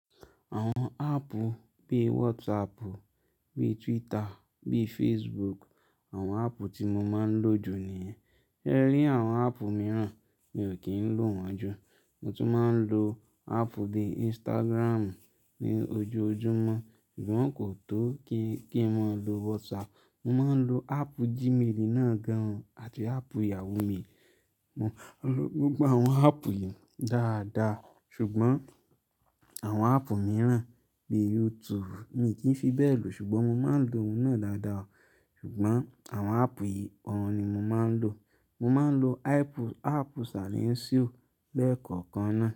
Àwọn áàpù bíi WhatsApp, bíi Twitter, bíi Facebook, àwọn áàpù tí mo máa ń lò jù ni yen. Rẹ rí àwọn áàpù mìíràn mi ò kí ń lò wọ́n jù. Mo tún máa ń lo áàpù bí i Instagram ní ojoojúmọ́ ṣùgbọ́n kò tó kí, kí màá lo WhatsApp. Mo máa ń lo áàpù Gmail náà gan àti áàpù Yahoo mail. Mo lo gbogbo àwọn áàpù yìí dáadáa ṣùgbọ́n àwọn áàpù mìíràn bí i YouTube mi kì í fi bẹ́ẹ̀ lò ṣùgbọ́n mo máa ń lò òun náà dáadáa. Ṣùgbọ́n àwọn áàpù yìí ọ̀run ni mo máa ń lò. Mo máa ń lo áàpù, áàpù Salinsio bẹ́ẹ̀ kọ̀ọ̀kan náà.